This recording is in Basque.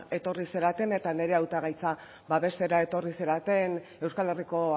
etorri zareten eta nire hautagaitza babestera etorri zareten euskal herriko